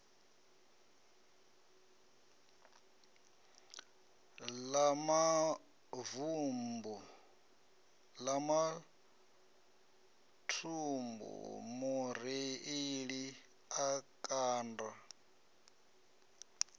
ḽa maḓumbu mureiḽi a kanda